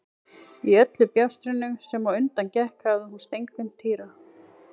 Í öllu bjástrinu sem á undan gekk hafði hún steingleymt Týra.